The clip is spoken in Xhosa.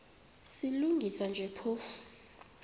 silungisa nje phofu